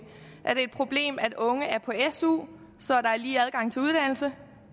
er det et problem at unge er på su så der er lige adgang til uddannelse